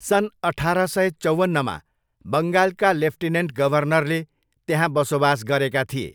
सन् अठार सय चौवन्नमा बङ्गालका लेफ्टिनेन्ट गभर्नरले त्यहाँ बसोबास गरेका थिए।